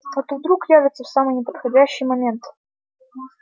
а то вдруг явятся в самый неподходящий момент